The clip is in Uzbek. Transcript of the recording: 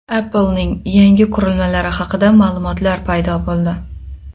Apple’ning yangi qurilmalari haqida ma’lumotlar paydo bo‘ldi.